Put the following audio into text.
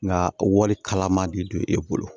Nka wari kalaman de don e bolo